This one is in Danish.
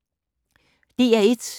DR1